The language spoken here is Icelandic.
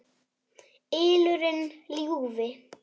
ylurinn ljúfi.